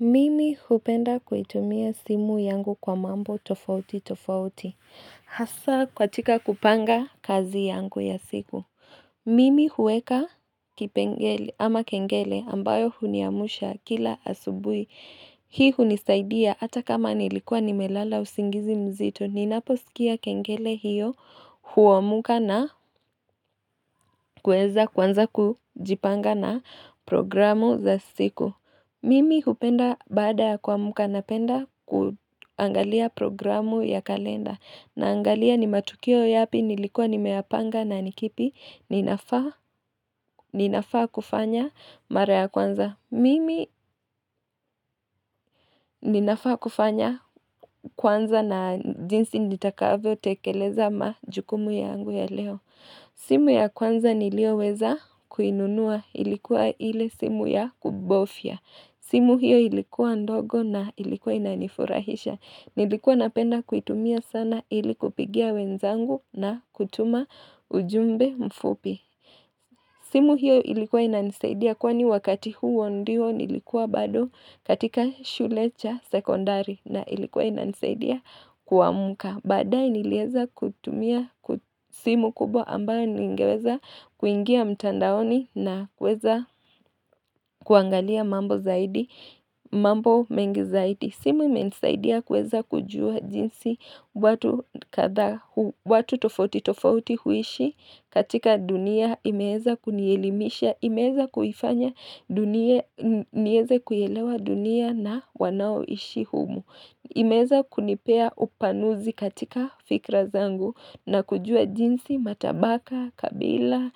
Mimi hupenda kuitumia simu yangu kwa mambo tofauti tofauti. Hasa katika kupanga kazi yangu ya siku. Mimi huweka kipengele ama kengele ambayo huniamusha kila asubui. Hii hunisaidia hata kama nilikuwa nimelala usingizi mzito. Ninapo sikia kengele hiyo huamka na kuweza kuanza kujipanga na programu za siku. Mimi kupenda baada ya kuamka napenda kuangalia programu ya kalenda naangalia ni matukio yapi nilikuwa nimeyapanga na nikipi ninafaa kufanya mara ya kwanza. Mimi ninafaa kufanya kwanza na jinsi nitakavyo tekeleza majukumu yangu ya leo. Simu ya kwanza niliyo weza kuinunua ilikuwa ile simu ya kubofya. Simu hiyo ilikuwa ndogo na ilikuwa inanifurahisha. Nilikuwa napenda kuitumia sana ili kupigia wenzangu na kutuma ujumbe mfupi. Simu hiyo ilikuwa ina nisaidia kwani wakati huo ndio nilikuwa bado katika shulecha sekondari na ilikuwa ina nisaidia kuamka Badae niliweza kutumia simu kubwa ambayo ningeweza kuingia mtandaoni na kuweza kuangalia mambo mengi zaidi simu imenisaidia kuweza kujua jinsi watu tofauti tofauti huishi katika dunia imeweza kunielimisha, imeweza kuifanya, niweze kuielewa dunia na wanao ishi humu. Imeweza kunipea upanuzi katika fikra zangu na kujua jinsi, matabaka, kabila,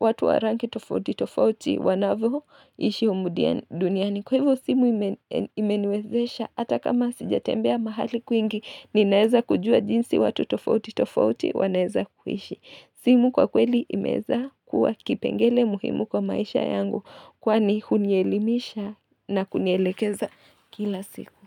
watu warangi tofauti tofauti wanavyo ishi humu duniani. Kwa hivyo simu imeniwezesha hata kama sijatembea mahali kwingi, ninaweza kujua jinsi watu tofauti tofauti wanaweza kuishi. Simu kwa kweli imeweza kuwa kipengele muhimu kwa maisha yangu kwani hunielimisha na kunielekeza kila siku.